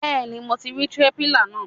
Bẹ́ẹ̀ni mo ti rí stépìlà náà.